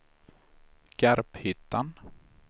Garphyttan